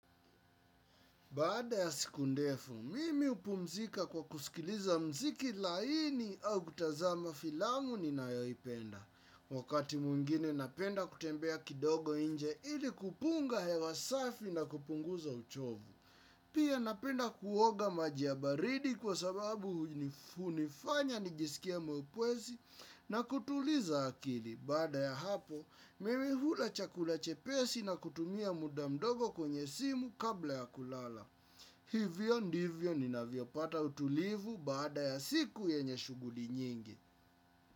Baada ya siku ndefu mimi hupumzika kwa kusikiliza mziki laini au kutazama filamu ni nayoipenda. Wakati mwingine napenda kutembea kidogo nje ili kupunga hewa safi na kupunguza uchovu. Pia napenda kuoga maji ya baridi kwa sababu hunifanya nijisikie mwepesi na kutuliza akili. Baada ya hapo mimi hula chakula chepesi na kutumia muda mdogo kwenye simu kabla ya kulala. Hivyo ndivyo ninavyopata utulivu baada ya siku yenye shughuli nyingi.